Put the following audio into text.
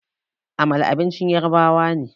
Amala abincin yarabawa ne